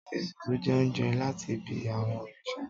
Etùtù jẹ oúnjẹ latí bẹ awọn òrìṣà